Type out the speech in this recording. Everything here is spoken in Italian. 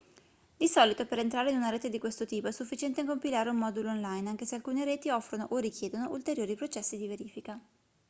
di solito per entrare in una rete di questo tipo è sufficiente compilare un modulo online anche se alcune reti offrono o richiedono ulteriori processi di verifica